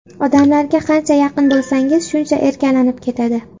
Odamlarga qancha yaqin bo‘lsangiz, shuncha erkalanib ketadi.